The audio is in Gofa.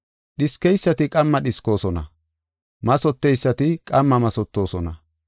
Dhiskeysati qamma dhiskoosona; mathoteysati qamma mathotosona.